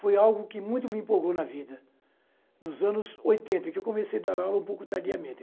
Foi algo que muito me empolgou na vida, nos anos oitenta, em que comecei a dar aula um pouco tardiamente.